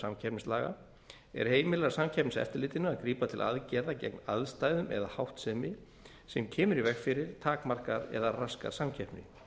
samkeppnislaga er heimilar samkeppniseftirlitinu að grípa til aðgerða gegn aðstæðum eða háttsemi sem kemur í veg fyrir takmarkar eða raskar samkeppni